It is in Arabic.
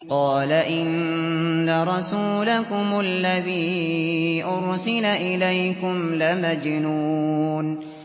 قَالَ إِنَّ رَسُولَكُمُ الَّذِي أُرْسِلَ إِلَيْكُمْ لَمَجْنُونٌ